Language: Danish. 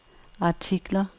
artikler